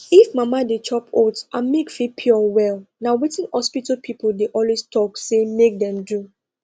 if mama dey chop oats her milk fit pure well na wetin hospital people dey always talk say make dem do